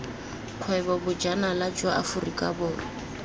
kgwebo bojanala jwa aforika borwa